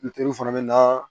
fana bɛ na